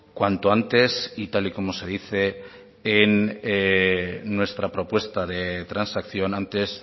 cuanto antes y tal y como se dice en nuestra propuesta de transacción antes